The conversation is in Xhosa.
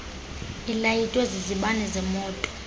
ilayitwe zizibane zemoto